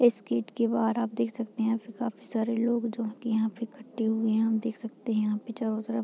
इस गेट बाहर आप देख सकते है यहाँ पे काफी सारे लोग जो हैं यहाँ पे इकठ्ठे हुए हैं यहाँ पे देख सकते है चारो तरफ।